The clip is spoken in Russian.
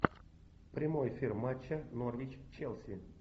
прямой эфир матча норвич челси